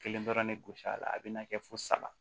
Kelen dɔrɔn ne gosi a la a bɛna kɛ fo saba